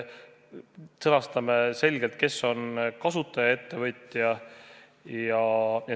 Sõnastame selgelt, kes on kasutaja ettevõtja.